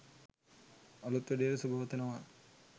අලුත් වැඩේට සුබ පතනවා.